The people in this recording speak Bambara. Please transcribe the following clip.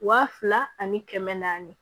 Wa fila ani kɛmɛ naani